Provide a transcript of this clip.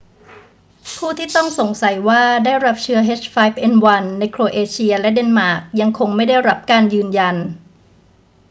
ผู้ที่ต้องสงสัยว่าได้รับเชื้อ h5n1 ในโครเอเชียและเดนมาร์กยังคงไม่ได้รับการยืนยัน